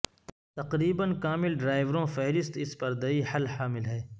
تقریبا کامل ڈرائیوروں فہرست اس پردیی حل حامل ہے